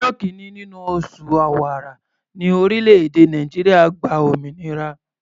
Ọjọ́ kìíní nínú oṣù Ọ̀wàrà ní orílẹ̀-èdè Nàìjíríà gba òmìnira.